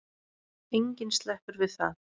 Enginn sleppur við það.